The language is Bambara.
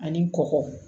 Ani kɔkɔ